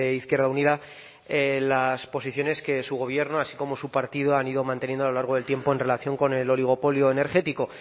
izquierda unida las posiciones que su gobierno así como su partido han ido manteniendo a lo largo del tiempo en relación con el oligopolio energético